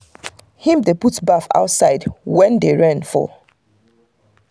him dey put baff outside when rain dey fall.